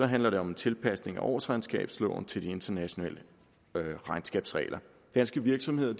handler det om en tilpasning af årsregnskabsloven til de internationale regnskabsregler danske virksomheder